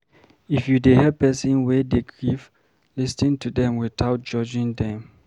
If you dey help person wey dey grief, lis ten to them without judging them